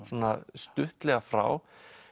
stuttlega frá